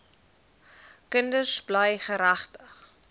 kinders bly geregtig